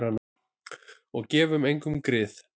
Og gefum engum grið.